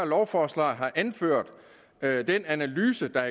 lovforslaget har anført at den analyse af